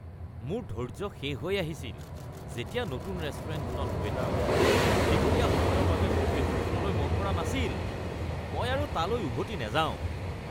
মোৰ ধৈৰ্য্য শেষ হৈ আহিছিল যেতিয়া নতুন ৰেষ্টুৰেণ্টখনত ৱেটাৰসকলে দীঘলীয়া সময়ৰ বাবে মোৰ টেবুলখনলৈ মন কৰা নাছিল। মই আৰু তালৈ উভতি নাযাওঁ।